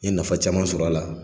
N ye nafa caman sɔr'a la.